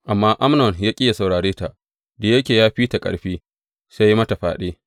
Amma Amnon ya ƙi yă saurare ta, da yake ya fi ta ƙarfi, sai ya yi mata fyaɗe.